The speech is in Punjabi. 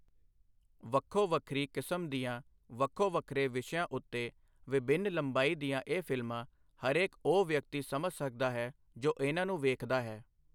ਵੱਖੋ ਵੱਖਰੀ ਕਿਸਮ ਦੀਆਂ ਵੱਖੋ ਵੱਖਰੇ ਵਿਸ਼ਆਂ ਉੱਤੇ ਵਿਭਿੰਨ ਲੰਬਾਈ ਦੀਆਂ ਇਹ ਫ਼ਿਲਮਾਂ ਹਰੇਕ ਉਹ ਵਿਅਕਤੀ ਸਮਝ ਸਕਦਾ ਹੈ, ਜੋ ਇਨ੍ਹਾਂ ਨੂੰ ਵੇਖਦਾ ਹੈ।